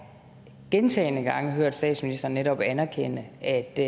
gentagne gange hørt statsministeren netop anerkende at det